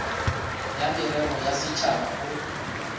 ya merero ya setšhaba go